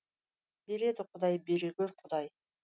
береді құдай бере гөр құдай